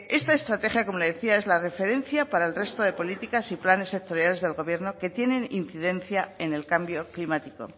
esta estrategia como le decía es la referencia para el resto de políticas y planes sectoriales del gobierno que tienen incidencia en el cambio climático